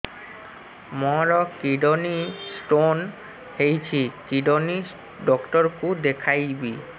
ମୋର kidney stone ହେଇଛି kidney doctor କୁ ଦେଖାଇବି